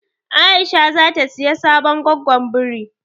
Aisha zata siya sabon goggon biri.